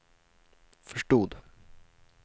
förstod